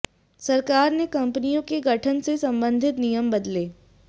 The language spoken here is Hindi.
सरकार ने कंपनियों के गठन से संबंधित नियम बदले